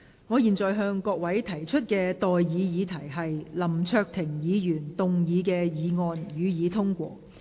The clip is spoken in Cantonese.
我現在向各位提出的待議議題是：林卓廷議員動議的議案，予以通過。